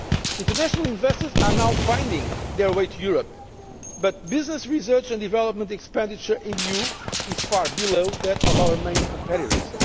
International investors are now finding their way to Europe, but business research and development expenditure in the EU is far below that of our main competitors.